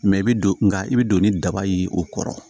i bɛ don nka i bɛ don ni daba ye o kɔrɔ